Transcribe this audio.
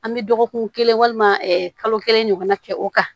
An bɛ dɔgɔkun kelen walima kalo kelen ɲɔgɔnna kɛ o kan